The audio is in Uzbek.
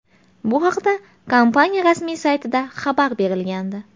Bu haqda kompaniya rasmiy saytida xabar berilgandi .